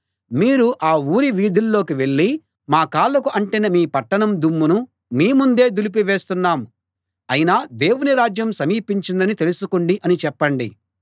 మీరు ఆ ఊరి వీధుల్లోకి వెళ్ళి మా కాళ్ళకు అంటిన మీ పట్టణం దుమ్మును మీ ముందే దులిపి వేస్తున్నాం అయినా దేవుని రాజ్యం సమీపించిందని తెలుసుకోండి అని చెప్పండి